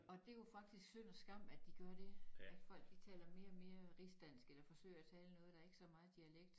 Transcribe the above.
Og det jo faktisk synd og skam de gør det at folk de taler mere og mere rigsdansk eller forsøger at tale noget der ikke så meget dialekt